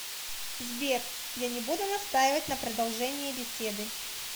сбер я не будут настаивать на продолжении беседы